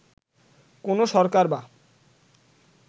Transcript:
কোন সরকার বা